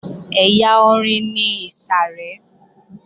Ẹ̀yà orin ni ìsàrẹ́